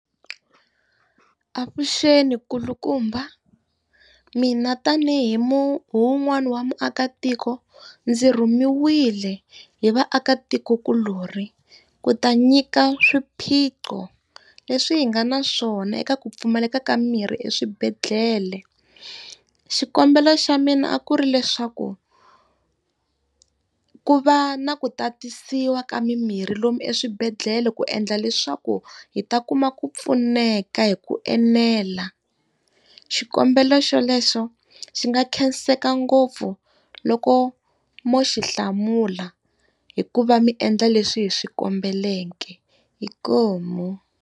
Avuxeni kulukumba. Mina tanihi hi wun'wani wa muakatiko ndzi rhumiwile hi vaakatikokulorhi, ku ta nyika swiphiqo leswi hi nga na swona eka ku pfumaleka ka mimirhi eswibedhlele. Xikombelo xa mina a ku ri leswaku, ku va na ku tatisiwa ka mimirhi lomu eswibedhlele ku endla leswaku hi ta kuma ku pfuneka hi ku enela. Xikombelo xolexo xi nga khenseka ngopfu loko mo xi hlamula, hikuva mi endla leswi hi swi kombeleke. Inkomu.